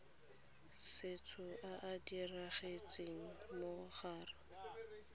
setso a a diragetseng morago